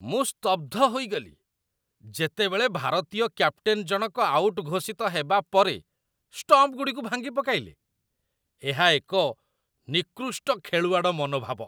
ମୁଁ ସ୍ତବ୍ଧ ହୋଇଗଲି, ଯେତେବେଳେ ଭାରତୀୟ କ୍ୟାପ୍ଟେନ ଜଣକ ଆଉଟ୍ ଘୋଷିତ ହେବା ପରେ ଷ୍ଟମ୍ପଗୁଡ଼ିକୁ ଭାଙ୍ଗିପକାଇଲେ, ଏହା ଏକ ନିକୃଷ୍ଟ ଖେଳୁଆଡ଼ ମନୋଭାବ।